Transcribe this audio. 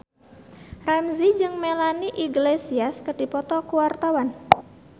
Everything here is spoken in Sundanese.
Ramzy jeung Melanie Iglesias keur dipoto ku wartawan